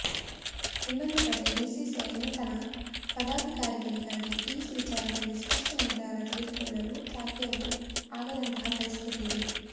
ಇನ್ನೊಂದು ಕಡೆ ಬಿಸಿಸಿಐ ನೂತನ ಪದಾಧಿಕಾರಿಗಳಿಗೆ ಈ ವಿಚಾರದಲ್ಲಿ ಸ್ಪಷ್ಟ ನಿರ್ಧಾರ ತೆಗೆದುಕೊಳ್ಳಲು ಸಾಧ್ಯವೂ ಆಗದಂತಹ ಪರಿಸ್ಥಿತಿಯಿದೆ